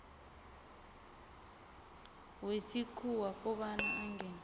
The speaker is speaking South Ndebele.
wesikhuwa kobana angene